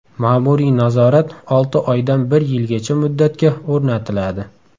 Ma’muriy nazorat olti oydan bir yilgacha muddatga o‘rnatiladi.